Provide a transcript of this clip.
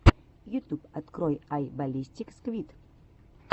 ютюб открой ай баллистик сквид